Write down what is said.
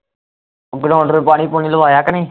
ground ਪਾਣੀ ਪੂਣੀ ਲਵਾਇਆ ਕਿ ਨਹੀਂ